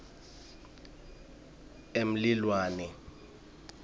emlilwane